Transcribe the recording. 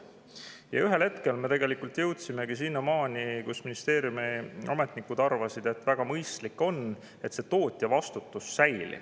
Ja ühel hetkel me jõudsimegi selleni, et ministeeriumi ametnikud arvasid, et mõistlik on, et tootjavastutus säilib.